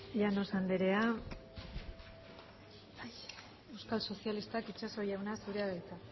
llanos andrea euskal sozialistak itxaso jauna zurea da hitza